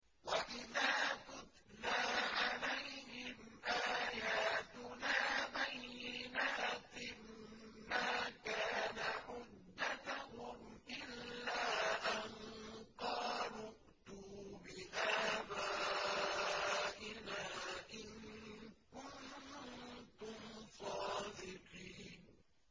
وَإِذَا تُتْلَىٰ عَلَيْهِمْ آيَاتُنَا بَيِّنَاتٍ مَّا كَانَ حُجَّتَهُمْ إِلَّا أَن قَالُوا ائْتُوا بِآبَائِنَا إِن كُنتُمْ صَادِقِينَ